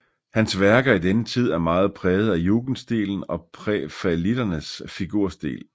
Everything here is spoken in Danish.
Hans værker i denne tid er meget præget af jugendstilen og prærafaelitternes figurstil